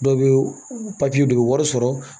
Dɔw bɛ don u bɛ wari sɔrɔ